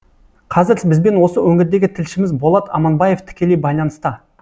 қазір бізбен осы өңірдегі тілшіміз болат аманбаев тікелей байланыста